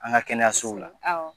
An ka kɛnɛyasow la awɔ